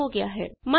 ਹਾਂ ਇਹ ਹੋ ਗਿਆ ਹੈ